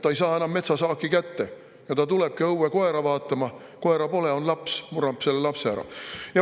Ta ei saa enam metsasaaki kätte ja tuleb õue koera vaatama, aga koera pole, on laps – murrab selle lapse ära.